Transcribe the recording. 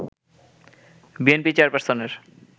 BNP চেয়ারপারসনের